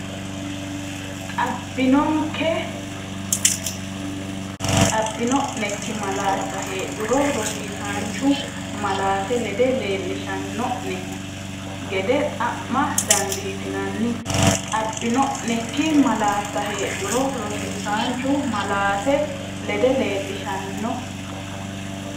Xab- bino’nekki malaatta heedhuro rosiisaanchu malaate lede leellishan- no’ne gede xa’ma dandiitinanni Xab- bino’nekki malaatta heedhuro rosiisaanchu malaate lede leellishan-.